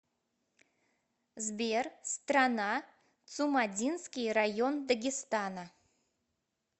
сбер страна цумадинский район дагестана